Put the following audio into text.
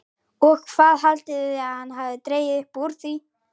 OG HVAÐ HALDIÐI AÐ HANN HAFI DREGIÐ UPP ÚR ÞVÍ?